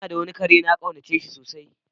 N'na da wani kare de na kaunace sosai.